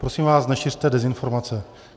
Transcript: Prosím vás, nešiřte dezinformace.